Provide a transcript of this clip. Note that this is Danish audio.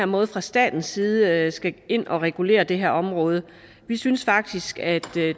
måde fra statens side skal ind og regulere det her område vi synes faktisk at